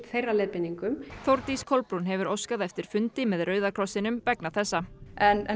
þeirra leiðbeiningum Þórdís Kolbrún hefur óskað eftir fundi með Rauða krossinum vegna þessa en